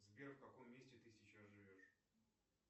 сбер в каком месте ты сейчас живешь